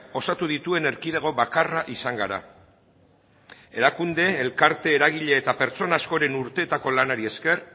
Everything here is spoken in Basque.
osatu dituen erkidego bakarra izan gara erakunde elkarte eragile eta pertsona askoren urteetako lanari esker